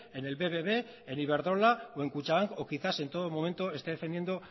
en el bbb en iberdrola o en kutxabank o quizás en todo momento esté defendiendo